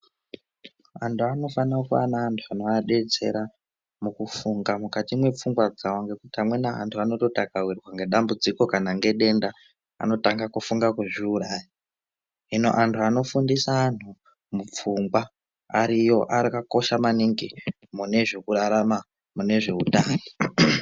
Antu anofana kuve nevantu anovadetsera mukufunga mukati mwepfungwa dzavo nekuti amweni antu anototi akawirwa nedambudziko kana ngedenda anotanga kufunga kuzviuraya, hino antu anofundisa antu mupfungwa ariyo akakosha maningi mune zvekurarama, mune zveutano.